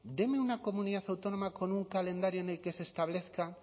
denme una comunidad autónoma con un calendario en el que se establezca